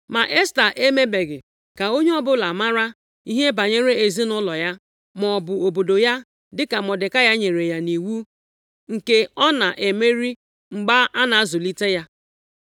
Ma Esta emebeghị ka onye ọbụla mara ihe banyere ezinaụlọ ya maọbụ obodo ya, dịka Mọdekai nyere ya nʼiwu, nke ọ na-emeri mgbe a na-azụlite ya.